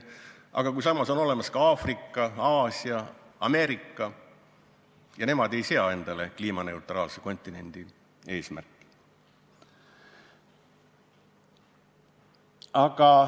Aga samas on olemas ka Aafrika, Aasia, Ameerika – ja nemad ei sea endale kliimaneutraalseks kontinendiks saamise eesmärki.